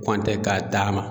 K'o an tɛ ka taama